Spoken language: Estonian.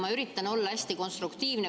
Ma üritan olla hästi konstruktiivne.